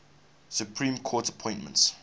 supreme court appointments